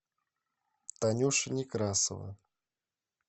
танюша некрасова